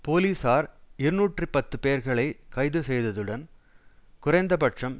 போலீசார் இருநூற்றி பத்து பேர்களை கைது செய்ததுடன் குறைந்த பட்சம்